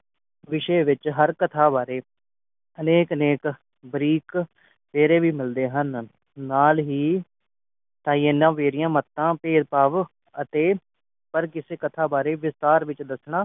ਵਿਸ਼ੇ ਵਿਚ ਹਰ ਕਥਾ ਬਾਰੇ ਨੇਕ ਅਨੇਕ ਬਰੀਕ ਗੇੜੇ ਵੀ ਮਿਲਦੇ ਹਨ ਨਾਲ ਹੀ ਤਾਈ ਇਹਨਾਂ ਵੇੜਿਆ ਮੱਤਾਂ ਭੇਦ ਭਾਵ ਅਤੇ ਪਰ ਕਿਸੇ ਕਥਾ ਬਾਰੇ ਵਿਸਤਾਰ ਵਿਚ ਦੱਸਣਾ